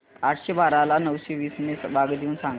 आठशे बारा ला नऊशे वीस ने भाग देऊन सांग